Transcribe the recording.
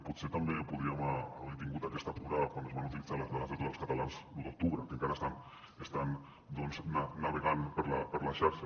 potser també podríem haver tingut aquesta cura quan es van utilitzar les dades de tots els catalans l’u d’octubre que encara estan doncs navegant per la xarxa